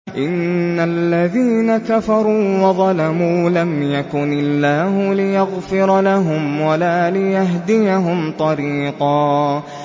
إِنَّ الَّذِينَ كَفَرُوا وَظَلَمُوا لَمْ يَكُنِ اللَّهُ لِيَغْفِرَ لَهُمْ وَلَا لِيَهْدِيَهُمْ طَرِيقًا